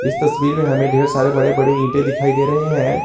इस तस्वीर में हमें ढेर सारे बड़े बड़े ईंटे दिखाएं दे रहे हैं।